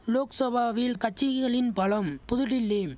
லோக்சவாவில் கட்சிகளின் பலம் புதுடில்லிம்